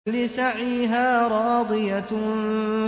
لِّسَعْيِهَا رَاضِيَةٌ